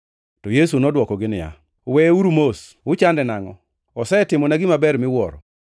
To Yesu nodwokogi niya, “Weyeuru mos. Uchande nangʼo? Osetimona gima ber miwuoro.